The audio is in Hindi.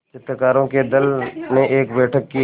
चित्रकारों के दल ने एक बैठक की